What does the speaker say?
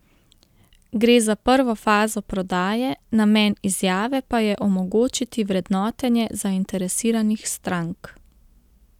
Gre za prvo fazo prodaje, namen izjave pa je omogočiti vrednotenje zainteresiranih strank.